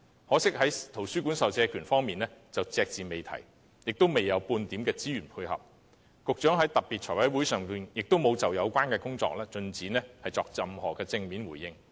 可惜在圖書館授借權方面，預算案隻字不提，也未有半點資源配合，當局在財務委員會特別會議上也沒有就相關工作的進展作出任何正面回應。